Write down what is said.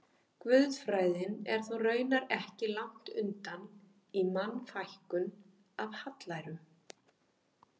Guðfræðin er þó raunar ekki langt undan í Mannfækkun af hallærum.